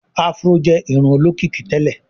afro jé irun olókìkí tèlé.